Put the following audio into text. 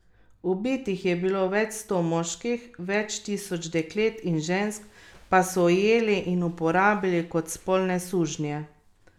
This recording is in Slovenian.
Ubitih je bilo več sto moških, več tisoč deklet in žensk pa so ujeli in uporabili kot spolne sužnje.